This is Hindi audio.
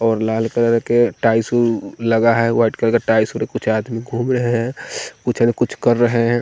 और लाल कलर के टाईशू लगा है वाइट कलर का टाईशू कुछ आदमी घूम रहे हैं कुछ अ कुछ कर रहे हैं।